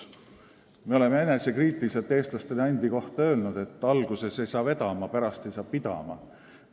Me oleme enesekriitiliselt eestlastena endi kohta öelnud, et alguses ei saa vedama, pärast ei saa pidama.